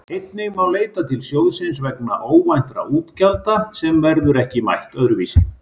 Einnig má leita til sjóðsins vegna óvæntra útgjalda sem verður ekki mætt öðru vísi.